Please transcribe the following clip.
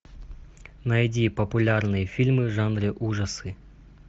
найди популярные фильмы в жанре ужасы